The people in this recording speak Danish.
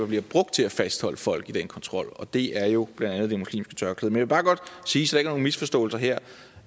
bliver brugt til at fastholde folk i den kontrol og det er jo blandt andet det muslimske tørklæde vil bare godt sige så er nogen misforståelser her